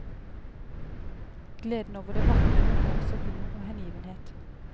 Gleden over det vakre rommer også humor og hengivenhet.